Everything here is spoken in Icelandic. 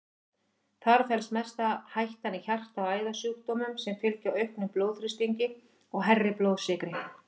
Þar felst mesta hættan í hjarta- og æðasjúkdómum sem fylgja auknum blóðþrýstingi og hærri blóðsykri.